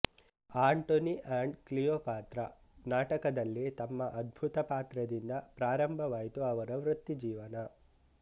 Antony and Cleopatra ನಾಟಕದಲ್ಲಿ ತಮ್ಮ ಅದ್ಭುತ ಪಾತ್ರದಿಂದ ಪ್ರಾರಂಭವಾಯಿತು ಅವರ ವೃತ್ತಿ ಜೀವನ